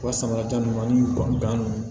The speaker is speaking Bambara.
U ka samara ta ninnu ani ban